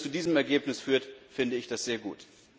Wenn es zu diesem Ergebnis führt, finde ich das sehr gut.